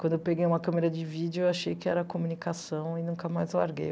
Quando eu peguei uma câmera de vídeo, eu achei que era comunicação e nunca mais larguei.